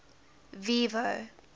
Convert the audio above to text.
vivo